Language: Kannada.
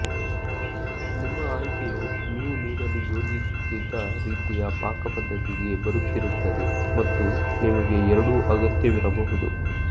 ನಿಮ್ಮ ಆಯ್ಕೆಯು ನೀವು ನೀಡಲು ಯೋಜಿಸುತ್ತಿದ್ದ ರೀತಿಯ ಪಾಕಪದ್ಧತಿಗೆ ಬರುತ್ತಿರುತ್ತದೆ ಮತ್ತು ನಿಮಗೆ ಎರಡೂ ಅಗತ್ಯವಿರಬಹುದು